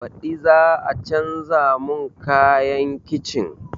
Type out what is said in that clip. Baɗi za a canza mun kayan kicin?